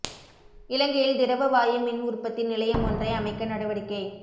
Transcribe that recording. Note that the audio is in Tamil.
இலங்கையில் திரவ வாயு மின் உற்பத்தி நிலையமொன்றை அமைக்க நடவடிக்கை